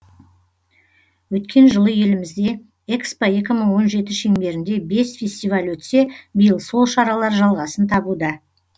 өткен жылы елімізде экспо екі мың он жеті шеңберінде бес фестиваль өтсе биыл сол шаралар жалғасын табуда